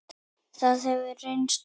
Það hefur reynst vel.